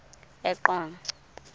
eqonco